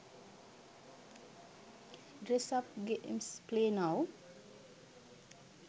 dress up games play now